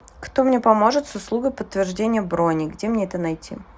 кто мне поможет с услугой подтверждения брони где мне это найти